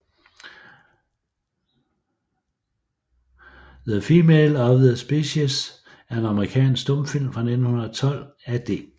The Female of the Species er en amerikansk stumfilm fra 1912 af D